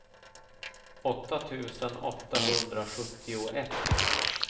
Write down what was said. åtta tusen åttahundrasjuttioett